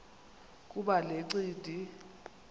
kuba le ncindi